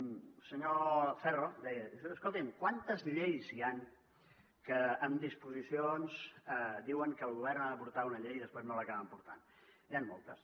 el senyor ferro deia escoltin quantes lleis hi han que en disposicions diuen que el govern ha de portar una llei i després no l’acaben portant n’hi han moltes